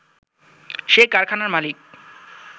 সে কারখানার মালিক